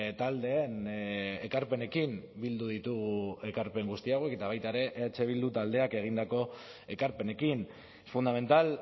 taldeen ekarpenekin bildu ditugu ekarpen guzti hauek eta baita ere eh bildu taldeak egindako ekarpenekin fundamental